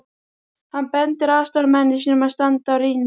Hann bendir aðstoðarmanni sínum að standa á rýni.